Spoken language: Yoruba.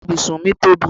Ibùsùn mi tóbi